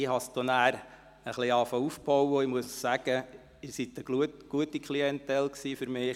Ich begann dann aufzubauen und muss sagen, dass Sie eine gute Klientel waren für mich.